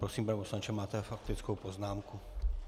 Prosím, pane poslanče, máte faktickou poznámku.